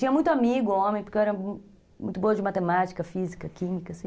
Tinha muito amigo homem, porque eu era muito boa de matemática, física, química, assim.